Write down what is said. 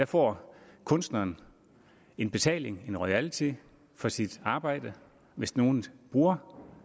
får kunstneren en betaling en royalty for sit arbejde hvis nogen bruger